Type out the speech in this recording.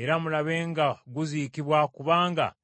era mulabe nga guziikibwa kubanga yali mumbejja.”